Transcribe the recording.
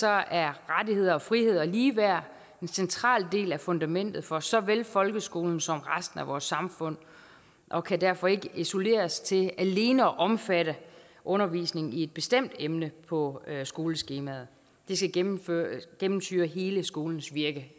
er rettigheder og friheder og ligeværd en central del af fundamentet for såvel folkeskolen som resten af vores samfund og kan derfor ikke isoleres til alene at omfatte undervisningen i et bestemt emne på skoleskemaet det skal gennemsyre gennemsyre hele skolens virke